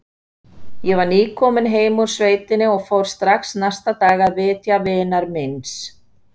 Ég var nýkominn heim úr sveitinni og fór strax næsta dag að vitja vinar míns.